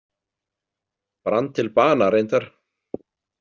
Brann til bana reyndar.